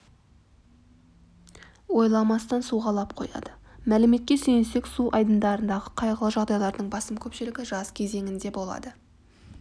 ойламастан суға лап қояды мәліметке сүйенсек су айдындарындағы қайғылы жағдайлардың басым көпшілігі жаз кезеңінде болады